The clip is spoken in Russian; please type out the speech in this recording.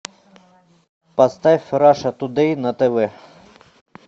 поставь раша тудей на тв